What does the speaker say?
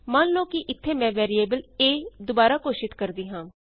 ਮੰਨ ਲਉ ਕਿ ਇਥੇ ਮੈਂ ਵੈਰੀਏਬਲ a ਦੁਬਾਰਾ ਘੋਸ਼ਿਤ ਕਰਦੀ ਹਾਂ